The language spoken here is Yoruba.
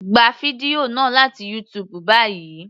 Gba fídíò náà láti YouTube báyìí.